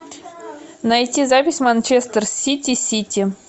найти запись манчестер сити сити